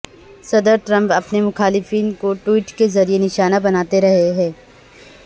صدر ٹرمپ اپنے مخالفین کو ٹویٹ کے ذریعے نشانہ بناتے رہے ہیں